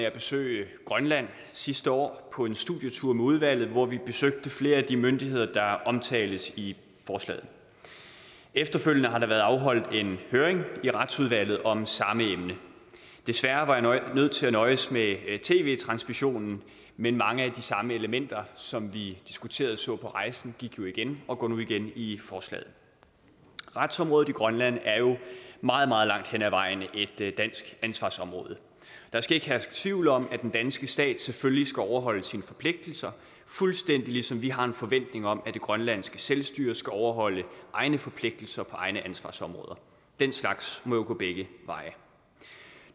at besøge grønland sidste år på en studietur med udvalget hvor vi besøgte flere af de myndigheder der omtales i forslaget efterfølgende har der været afholdt en høring i retsudvalget om samme emne desværre var jeg nødt til at nøjes med tv transmissionen men mange af de samme elementer som vi diskuterede og så på rejsen gik jo igen og går nu igen i forslaget retsområdet i grønland er jo meget meget langt hen ad vejen et dansk ansvarsområde der skal ikke herske tvivl om at den danske stat selvfølgelig skal overholde sine forpligtelser fuldstændig ligesom vi har en forventning om at det grønlandske selvstyre skal overholde egne forpligtelser på egne ansvarsområder den slags må jo gå begge veje